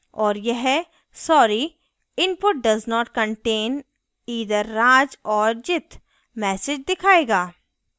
और यह sorry! input does not contain either raj or jit message दिखायेगा